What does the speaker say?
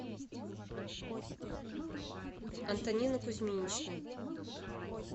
антонины кузьминичны